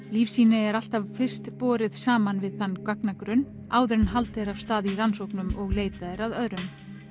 lífsýni er alltaf fyrst borin saman við þann gagnagrunn áður en haldið er af stað í rannsóknum og leitað er að öðrum